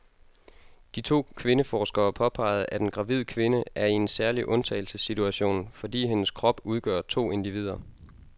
De to kvindeforskere påpeger, at en gravid kvinde er i en særlig undtagelsessituation, fordi hendes krop udgør to individer.